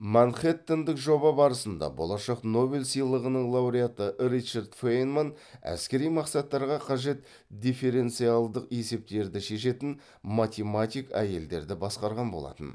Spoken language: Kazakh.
манхэттендік жоба барысында болашақ нобель сыйлығының лауреаты ричард фейнман әскери мақсаттарға қажет дифференциалдық есептерді шешетін математик әйелдерді басқарған болатын